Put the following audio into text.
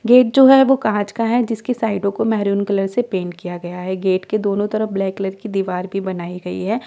Gate जो है वो कांच का है जिसके साइडों को मैरून कलर से पेंट किया गया है गेट के दोनों तरफ ब्लैक कलर की दीवार भी बनाई गई है।